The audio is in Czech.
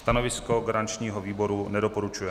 Stanovisko garančního výboru - nedoporučuje.